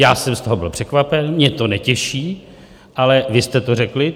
Já jsem z toho byl překvapen, mě to netěší, ale vy jste to řekli.